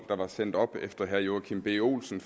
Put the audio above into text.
der var sendt op efter herre joachim b olsen